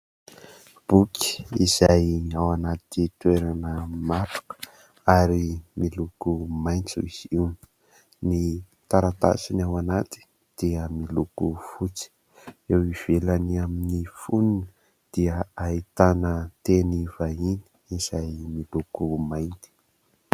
Boky izay ao anaty toerana matroka ary miloko maintso izy io. Ny taratasiny ao anaty dia miloko fotsy, eo ivelany amin'ny foniny dia ahitana teny vahiny izay miloko mainty.